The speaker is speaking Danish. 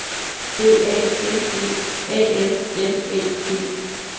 B A N E A N L Æ G